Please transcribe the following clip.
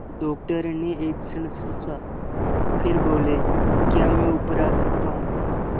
doctor ने एक क्षण सोचा फिर बोले क्या मैं ऊपर आ सकता हूँ